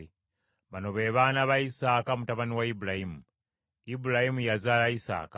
Bino bye bifa ku b’olulyo lwa Isaaka, mutabani wa Ibulayimu. Ibulayimu yazaala Isaaka.